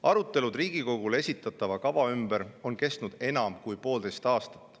Arutelud Riigikogule esitatava kava ümber on kestnud enam kui poolteist aastat.